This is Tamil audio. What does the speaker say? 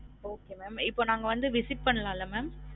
Okay mam இப்ப நாங்க visit பண்ணலாம்ல mam?